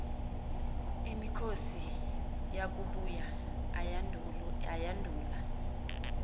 imikhosi yakubuya ayandula